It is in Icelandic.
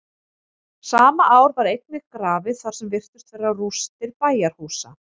sama ár var einnig grafið þar sem virtust vera rústir bæjarhúsa